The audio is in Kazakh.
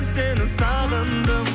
сені сағындым